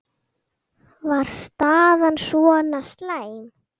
Var staðan svona slæm?